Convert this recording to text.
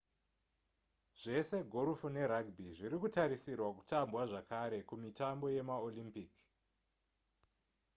zvese gorofu nerugby zvirikutarisirwa kutambwa zvakare kumitambo yemaolympic